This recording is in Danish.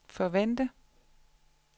forvente